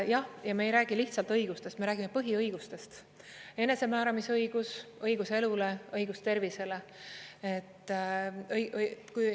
Jah, ja me ei räägi lihtsalt õigustest, me räägime põhiõigustest: enesemääramisõigus, õigus elule, õigus tervisele.